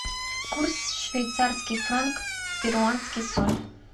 курс швейцарский франк перуанский соль